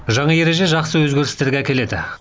жаңа ереже жақсы өзгерістерге әкеледі